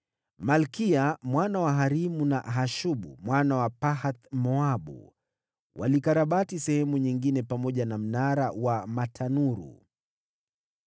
Malkiya mwana wa Harimu, na Hashubu mwana wa Pahath-Moabu walikarabati sehemu nyingine pamoja na Mnara wa Matanuru.